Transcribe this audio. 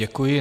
Děkuji.